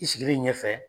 I sigilen ɲɛfɛ